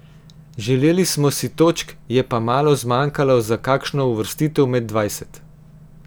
Želeli smo si točk, je pa malo zmanjkalo za kakšno uvrstitev med dvajset.